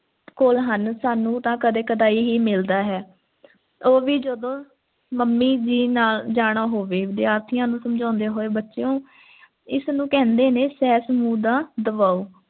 ਕੋਲ ਹਨ ਸਾਨੂੰ ਤੇ ਕਦੀ ਕਦਾਈ ਹੀ ਮਿਲਦਾ ਹੈ ਉਹ ਵੀ ਜਦੋਂ ਮੰਮੀ ਜੀ ਦੇ ਨਾਲ ਜਾਣਾ ਹੋਵੇ ਵਿਦਿਆਰਥੀਆਂ ਨੂੰ ਸਮਝਾਉਂਦੇ ਹੋਏ ਬੱਚਿਓ ਇਸ ਨੂੰ ਕਹਿੰਦੇ ਨੇ ਸਹਿਜ ਸਮੂਹ ਦਾ ਦਬਾਓ